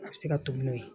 A bɛ se ka to n'o ye